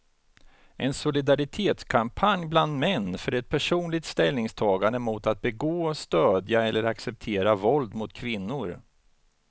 En solidaritetskampanj bland män för ett personligt ställningstagande mot att begå, stödja eller acceptera våld mot kvinnor.